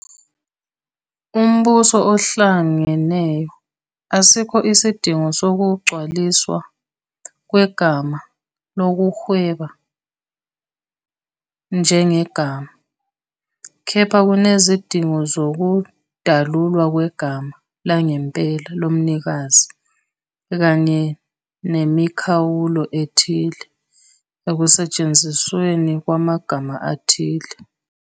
Umbuso Ohlangeneyo, asikho isidingo sokugcwaliswa kwegama "lokuhweba njengegama", kepha kunezidingo zokudalulwa kwegama langempela lomnikazi kanye nemikhawulo ethile ekusetshenzisweni kwamagama athile.